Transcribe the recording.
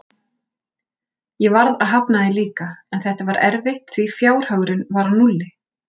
Ég varð að hafna því líka, en þetta var erfitt því fjárhagurinn var á núlli.